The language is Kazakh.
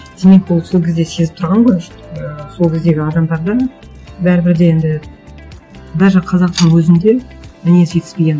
демек ол сол кезде сезіп тұрған ғой что і сол кездегі адамдардың бәрібір де енді даже қазақтың өзінде мінез жетіспегенін